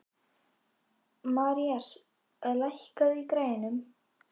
Marías, lækkaðu í græjunum.